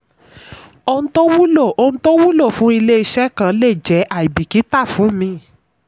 ohun tó wúlò ohun tó wúlò fún ilé iṣẹ́ kan lè jẹ́ aibikita fún míì.